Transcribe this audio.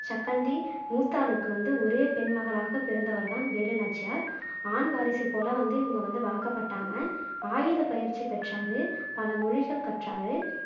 சக்கந்தி மூத்தாளுக்கு வந்து ஒரே பெண் மகளாகப் பிறந்தவர் தான் வேலுநாச்சியார். ஆண் வாரிசு போல வந்து இவங்க வந்து வளக்கப்பட்டாங்க ஆயுதப் பயிற்சி பெற்றாரு, பல மொழிகள் கற்றாரு